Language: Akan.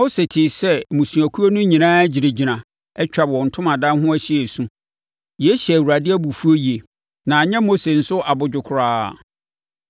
Mose tee sɛ mmusuakuo no nyinaa gyinagyina, atwa wɔn ntomadan ho ahyia resu. Yei hyɛɛ Awurade abufuo yie. Na anyɛ Mose nso abodwo koraa.